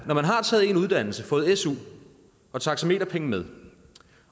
man har taget en uddannelse fået su og taxameterpenge med